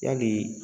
Yali